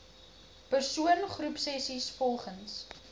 persoon groepsessies volgens